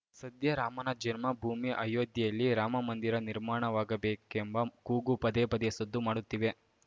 ಸದ್ಯ ರಾಮನ ಜನ್ಮ ಭೂಮಿ ಅಯೋಧ್ಯೆಯಲ್ಲಿ ರಾಮಮಂದಿರ ನಿರ್ಮಾಣವಾಗಬೇಕೆಂಬ ಕೂಗು ಪದೇ ಪದೇ ಸದ್ದು ಮಾಡುತ್ತಿವೆ